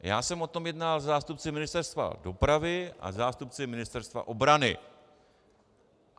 Já jsem o tom jednal se zástupci Ministerstva dopravy a se zástupci Ministerstva obrany.